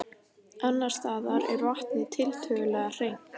Annars staðar er vatnið tiltölulega hreint.